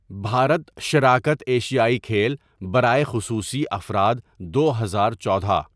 بھارت شراکت ایشیائی کھیل برائے خصوصی افراد دو ہزار چودہ.